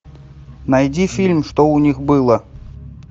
найди фильм что у них было